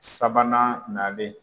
Sabanan nalen